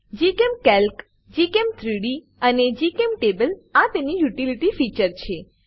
GChemCalc gchem3ડી અને GChemTable આ તેની યુટીલીટી ફીચર છે